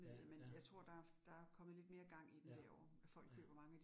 Ja ja. Ja, ja